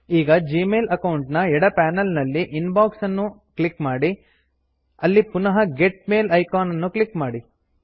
ಈಗ Gmail account ನ ಎಡ ಪನೆಲ್ ನಲ್ಲಿ ಇನ್ ಬಾಕ್ಸ್ ಅನ್ನು ಕ್ಲಿಕ್ ಮಾಡಿ ಅಲ್ಲಿ ಪುನಃ ಗೆಟ್ ಮೇಲ್ ಇಕಾನ್ ಅನ್ನು ಕ್ಲಿಕ್ ಮಾಡಿ